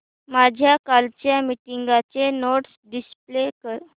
माझ्या कालच्या मीटिंगच्या नोट्स डिस्प्ले कर